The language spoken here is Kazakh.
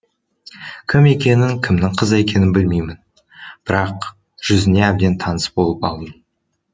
кім екенін кімнің қызы екенін білмеймін бірақ жүзіне әбден таныс болып алдым